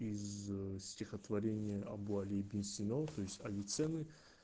из стихотворения абу али ибн сина то есть авиценны